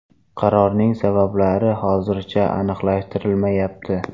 Qarorning sabablari hozircha aniqlashtirilmayapti.